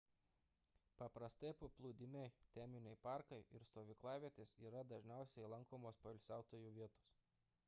paprastai paplūdimiai teminiai parkai ir stovyklavietės yra dažniausiai lankomos poilsiautojų vietos